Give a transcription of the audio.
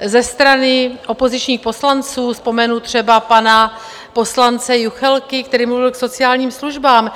ze strany opozičních poslanců, vzpomenu třeba pana poslance Juchelky, který mluvil k sociálním službám.